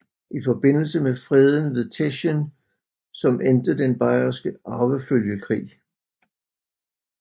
I forbindelse med freden ved Teschen som endte den Bayerske arvefølgekrig